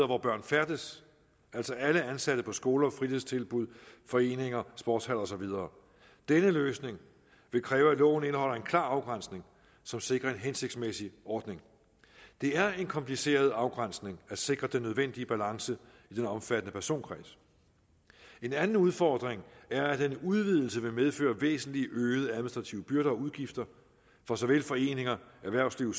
hvor børn færdes altså alle ansatte på skoler fritidstilbud foreninger sportshaller og så videre denne løsning vil kræve at loven indeholder en klar afgrænsning som sikrer en hensigtsmæssig ordning det er en kompliceret afgrænsning at sikre den nødvendige balance i den omfattende personkreds en anden udfordring er at en udvidelse vil medføre væsentlig øgede administrative byrder og udgifter for såvel foreninger erhvervsliv